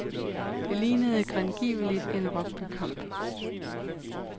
Det lignede grangiveligt en rugbykamp.